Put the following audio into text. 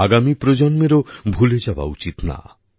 আগামী প্রজন্মেরও ভুলে যাওয়া উচিত না